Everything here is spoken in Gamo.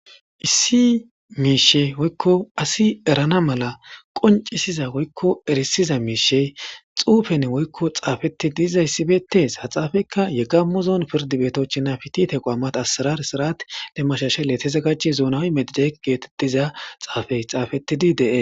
Issi miishe woykko asi erana mala qoncisiza woykko erisiza miishe xuufen woykko xaafeti diiza yssibeetees ha xaafekka yegammu zoon pirdi beetochinafitite qwaamat asirar sirat lemmashashe letesa gache zoonawi medije geetettiza xaafey xaafettidi de'e.